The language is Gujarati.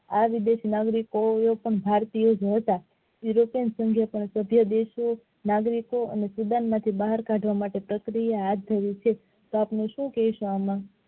આ વિદેશી નાગરિકો પણ ભારતીય જ હતા જે દેશો નાગરિકો અને તેમાંથી બહાર કાઢવા માટે પ્રક્રિયા હાથ ધરી છે તો આપડે શું કહેશું આમાં